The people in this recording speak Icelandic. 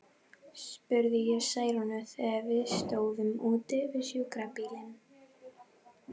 spurði ég Særúnu, þegar við stóðum úti við sjúkrabílinn.